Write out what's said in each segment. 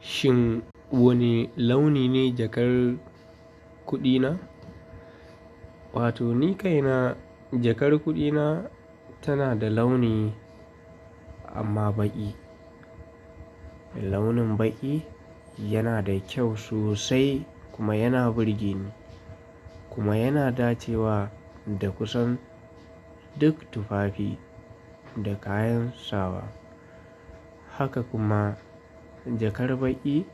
Shin wane launi ne jakar kuɗi na? Wato ni kaina jakar kuɗi na tana da launi amma baƙi. Launin baƙi yana da kyau sosai kuma yana burge ni kuma yana dacewa da kusan duk tufafi da kayan sawa. Haka kuma jakar baƙi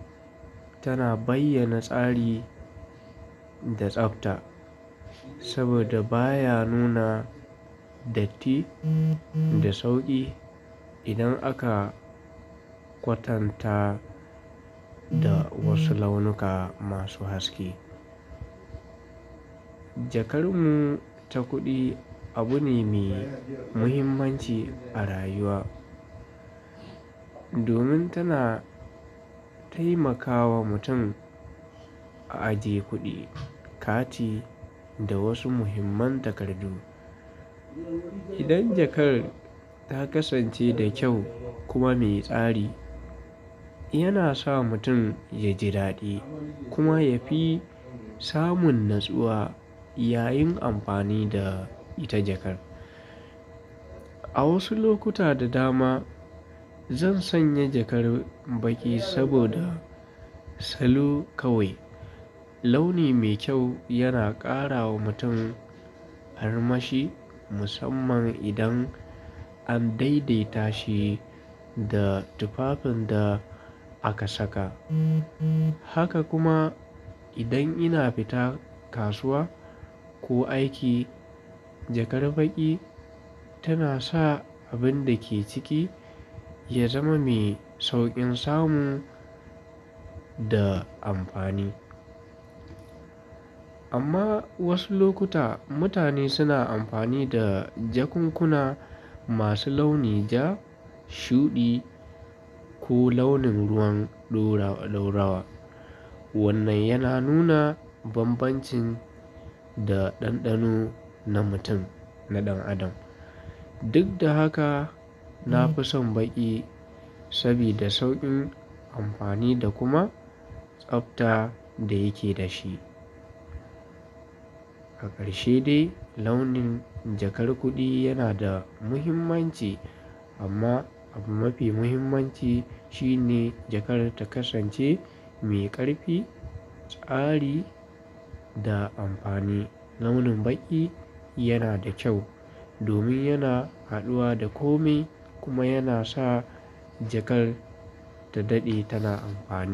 tana bayyana tsari da tsabta saboda baya nuna datti da sauƙi idan aka kwatanta da wasu launuka masu haske. Jakar mu ta kuɗi abu ne mai muhimmanci a rayuwa domin tana taimakawa mutum a ajiye kuɗi, kati da wasu muhimman takardu. Idan jakar ta kasance da kyau kuma mai tsari, yana sa mutum ya ji daɗi kuma ya fi samun natsuwa yayin amfani da ita jakar. A wasu lokuta da dama zan sanya jakar baƙi saboda salo kawai. Launi mai kyau yana ƙara wa mutum armashi musamman idan an daidaita shi da tufafin da aka saka. Haka kuma idan ina fita kasuwa ko aiki, jakar baƙi tana sa abin da ke ciki ya zama mai sauƙin samu da amfani. Amma wasu lokuta mutane suna amfani da jakunkuna masu launi ja, shuɗi ko launin ruwan ɗora-ɗorawa. Wannan yana nuna bambancin da ɗanɗano na mutum, na ɗan adam. Duk da haka, na fi son baƙi sabida sauƙin amfani da kuma tsabta da yake da shi. Ƙarshe dai, launin jakar kuɗi yana da muhimmanci amma abu mafi muhimmanci shine jakar ta kasance mai ƙarfi, tsari da amfani. Launin baƙi yana da kyau domin yana haɗuwa da kome kuma yana sa jakar ta daɗe tana amfani.